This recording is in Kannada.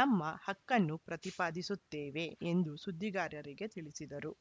ನಮ್ಮ ಹಕ್ಕನ್ನು ಪ್ರತಿಪಾದಿಸುತ್ತೇವೆ ಎಂದು ಸುದ್ದಿಗಾರರಿಗೆ ತಿಳಿಸಿದರು